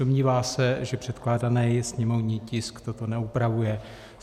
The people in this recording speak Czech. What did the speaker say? Domnívá se, že předkládaný sněmovní tisk toto neupravuje.